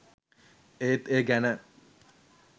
ඒත් ඒ ගැන